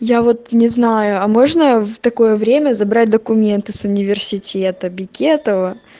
я вот не знаю а можно в такое время забрать документы с университета бекетова